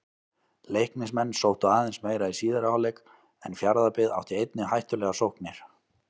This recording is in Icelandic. Leiknismenn sóttu aðeins meira í síðari hálfleik en Fjarðabyggð átti einnig hættulegar sóknir.